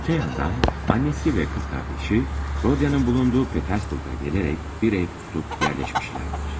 Digər tərəfdən, anası və bacısı, Rodionun olduğu Peterburqa gələrək bir ev tutub yerləşmişlər.